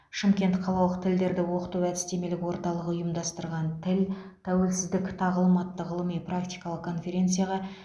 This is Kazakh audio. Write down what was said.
шымкент қалалық тілдерді оқыту әдістемелік орталығы ұйымдастырған тіл тәуелсіздік тағылым атты ғылыми практикалық конференцияға